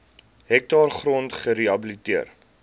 hektaar grond gerehabiliteer